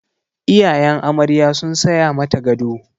Iyayen amarya sun saya mata gado.